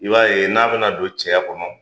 I b'a ye n'a bena don cɛya kɔnɔ